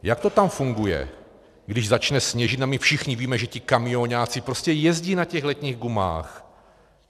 Jak to tam funguje, když začne sněžit a my všichni víme, že ti kamioňáci prostě jezdí na těch letních gumách?